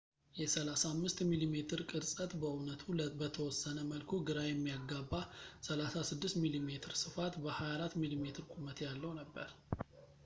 የ 35 ሚሜ ቅርፀት በእውነቱ በተወሰነ መልኩ ግራ የሚያጋባ 36 ሚሜ ስፋት በ 24 ሚሜ ቁመት ያለው ነበር